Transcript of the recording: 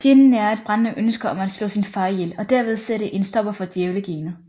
Jin nærer et brændende ønske om at slå sin far ihjel og derved sætte en stopper for Djævlegenet